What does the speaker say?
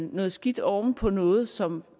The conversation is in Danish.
noget skidt oven på noget som